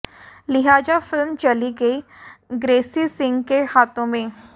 लिहाजा फिल्म चली गई ग्रेसी सिंह के हाथो में